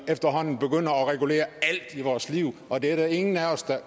efterhånden at regulere alt i vores liv og det er der ingen